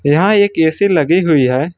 यहां एक ए_सी लगी हुई है।